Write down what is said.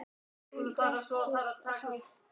Hún drekkur hægt.